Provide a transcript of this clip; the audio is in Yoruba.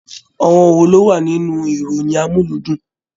Àwọn wò ló wà nínú ìròyìn amuludun?